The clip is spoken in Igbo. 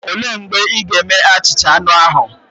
Olee mgbe ị ga-eme achicha anu ahu?